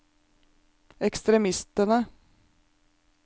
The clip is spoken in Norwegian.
ekstremistene